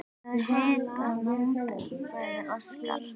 Ég hita lambið, sagði Óskar.